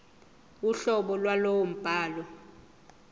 uhlobo lwalowo mbhalo